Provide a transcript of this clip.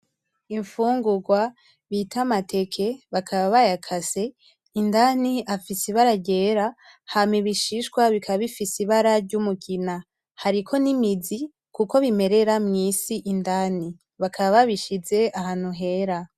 Imfurwa bitwa amateke bakaba bayakase, indani afise ryera hama ibishishwa bikaba bifise ibara ryumugina. Hariko n'imizi kuko bimerera mw'isi indani, bakaba babishize ahantu hera.